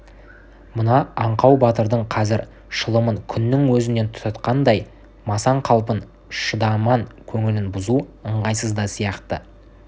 мына аңқау батырдың қазір шылымын күннің өзінен тұтатқандай масаң қалпын шадыман көңілін бұзу ыңғайсыз да сияқты